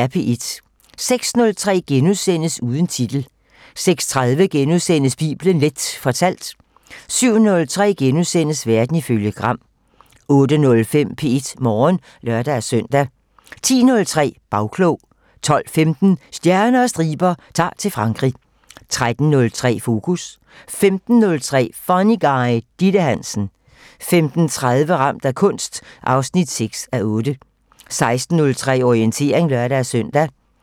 06:03: Uden titel * 06:30: Bibelen Leth fortalt * 07:03: Verden ifølge Gram * 08:05: P1 Morgen (lør-søn) 10:03: Bagklog 12:15: Stjerner og striber - Ta'r til Frankrig 13:03: Fokus 15:03: Funny Guy: Ditte Hansen 15:30: Ramt af kunst 6:8 16:03: Orientering (lør-søn)